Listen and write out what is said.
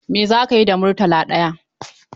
Mai za ka yi da Murtala ɗaya?